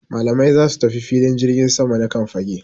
Malamai za su tafi filin jirgin sama na Kan fage